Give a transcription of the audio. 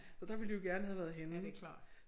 Så der ville de jo gerne have været henne